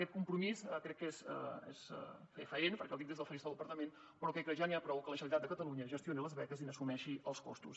aquest compromís és fefaent perquè el dic des del faristol del parlament però crec que ja n’hi ha prou que la generalitat de catalunya gestioni les beques i n’assumeixi els costos